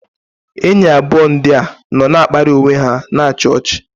enyi abụọ ndị a nọ na-akparị onwe ha na-achị ọchị.